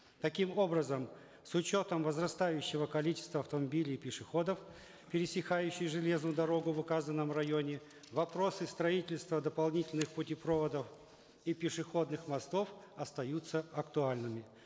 таким образом с учетом возрастающего количества автомобилей и пешеходов пересекающих железную дорогу в указанном районе вопросы строительства дополнительных путепроводов и пешеходных мостов остаются актуальными